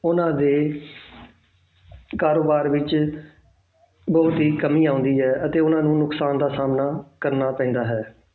ਉਹਨਾਂ ਦੇ ਕਾਰੋਬਾਰ ਵਿੱਚ ਬਹੁਤ ਹੀ ਕਮੀ ਆਉਂਦੀ ਹੈ ਅਤੇ ਉਹਨਾਂ ਨੁਕਸਾਨ ਦਾ ਸਾਹਮਣਾ ਕਰਨਾ ਪੈਂਦਾ ਹੈ।